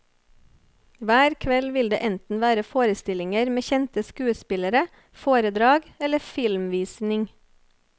Hver kveld vil det enten være forestillinger med kjente skuespillere, foredrag eller filmvisning.